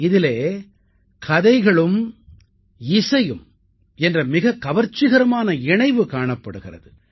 இதிலே கதைகளும் இசையும் என்ற மிகக் கவர்ச்சிகரமான இணைவு காணப்படுகிறது